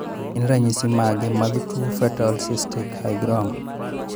Gin ranyisi mage mag tuo Fetal cystic hygroma?